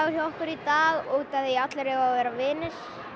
hjá okkur í dag út af því að allir að vera vinir